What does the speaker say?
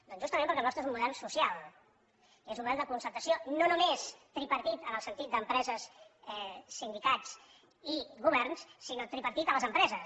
doncs justament perquè el nostre és un model social és un model de concertació no només tripartit en el sentit d’empreses sindicats i governs sinó tripartit a les empreses